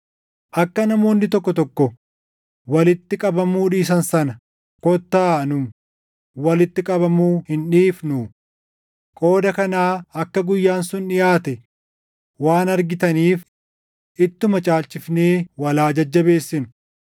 Akka namoonni tokko tokko walitti qabamuu dhiisan sana kottaa nu walitti qabamuu hin dhiifnuu; qooda kanaa akka guyyaan sun dhiʼaate waan argitaniif ittuma caalchifnee wal haa jajjabeessinu.